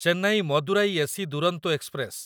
Chennai Madurai AC Duronto express